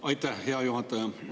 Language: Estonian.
Aitäh, hea juhataja!